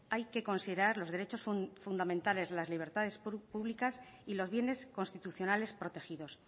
hay que considerar los derechos fundamentales las libertades públicas y los bienes constitucionales protegidos